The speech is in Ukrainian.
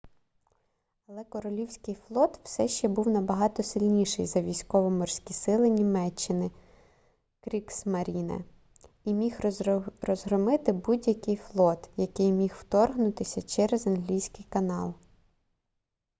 але королівський флот все ще був набагато сильніший за військово-морські сили німеччини кріґсмаріне і міг розгромити будь-який флот який міг вторгнутися через англійський канал